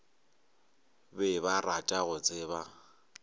be ba rata go tseba